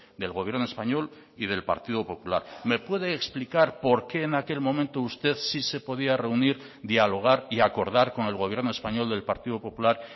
del gobierno español y del partido popular me puede explicar por qué en aquel momento usted sí se podía reunir dialogar y acordar con el gobierno español del partido popular